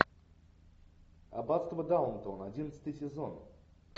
аббатство даунтон одиннадцатый сезон